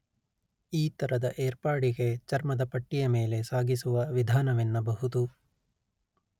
ಈ ತರದ ಏರ್ಪಾಡಿಗೆ ಚರ್ಮದ ಪಟ್ಟಿಯ ಮೇಲೆ ಸಾಗಿಸುವ ವಿಧಾನವೆನ್ನಬಹುದು